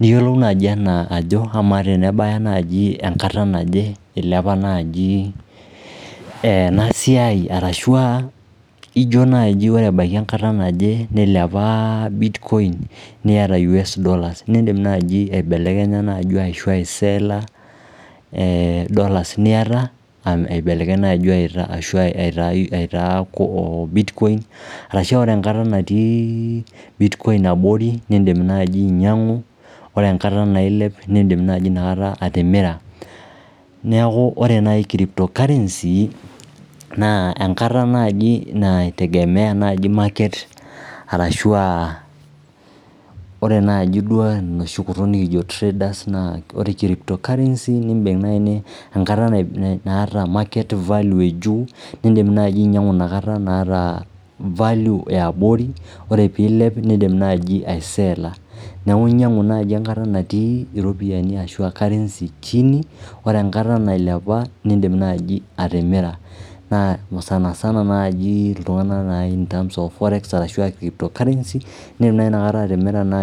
Niyiolou naaji enaa ajo kamaa tenebaya naaji enkata naje, ilepa naaji ena siai arashu aa ijo naaji ore ebaiki enkata naje nilepa bitcoin niata US dollars niindim naaji aibelekenya naaji ashu aiseela dollars niata aibelekeny aitaa bitcoin arashu ore enkata natii bitcoin abori niindim naaji ainyang'u, ore enkata nailep niindim naaji inakata atimira. Neeku ore naai crypto currency naa enkata naaji naitegemea naaji market arashu aa naaji tenoshi kutuk nekijo traders. Naa ore crypto currency niindim naai enkata naata value ejuu niindim naaji ainyang'u inakata inaata value e abori, ore tenilep niindim naaji aiseela. Neeku inyang'u naaji enkata natii iropiyiani ashu currency chini ore enkata nailepa niindim naaji atimira. Naa sana sana naaji iltung'anak naai in terms of forex ashu aa crypto currency niindim naa atimira inakata naai